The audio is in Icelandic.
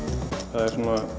það er